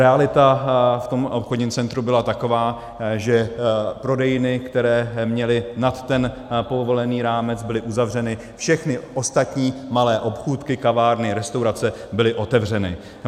Realita v tom obchodním centru byla taková, že prodejny, které měly nad ten povolený rámec, byly uzavřeny, všechny ostatní malé obchůdky, kavárny, restaurace byly otevřeny.